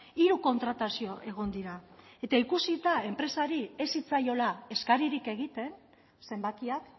hiru kontratazio egon dira eta ikusita enpresari ez zitzaiola eskaririk egiten zenbakiak